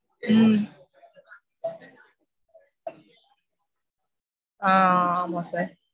ஹம் ஆஹ் ஆமா sir.